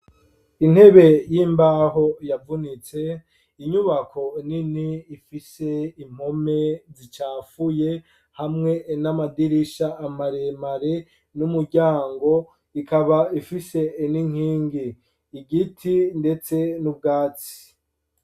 Intebe y'imbaho yavunitse, inyubako nini ifise impome zicafuye hamwe n'amadirisha maremare n'umuryango, ikaba ifise n'inkingi ,igiti ndetse n'ubwatsi.